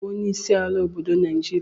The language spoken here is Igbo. Onye ga-abụ onyeisi ala obodo Naịjirịa.